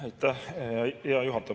Aitäh, hea juhataja!